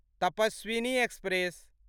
Tapaswini express